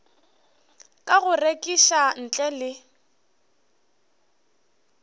ka go rekiša ntle le